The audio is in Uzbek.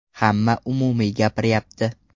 Hamma umumiy gapiryapti.